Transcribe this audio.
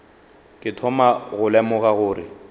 ke thoma go lemoga gore